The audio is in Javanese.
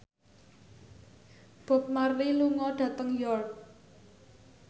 Bob Marley lunga dhateng York